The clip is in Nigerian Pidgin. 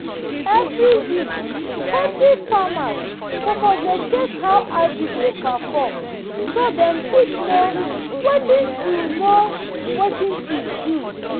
every week poultry farmers suppose dey check how agric dey perform so dem fit know watin to know watin to do